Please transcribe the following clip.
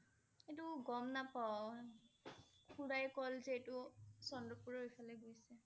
এইটো গম নাপাওঁ খুড়াএ ক'লে যে এইটো চন্দ্ৰপুৰ ৰ ইফালে গৈছে